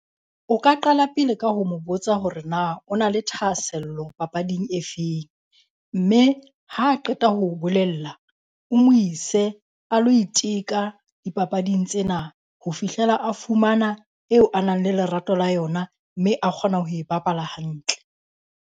O ka qala pele ka ho mo botsa hore na o na le thahasello papading e feng. Mme ha qeta ho o bolella o mo ise a lo iteka dipapading tsena ho fihlela a fumana eo a nang le lerato la yona, mme a kgona ho e bapala hantle.